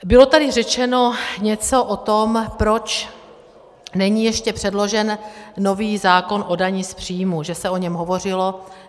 Bylo tady řečeno něco o tom, proč není ještě předložen nový zákon o dani z příjmu, že se o něm hovořilo.